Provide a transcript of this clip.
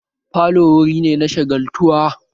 Falo wurin ne na shagaltuwa